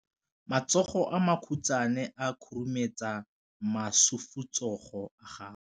Matsogo a makhutshwane a khurumetsa masufutsogo a gago.